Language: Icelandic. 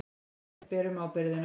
Við berum ábyrgðina.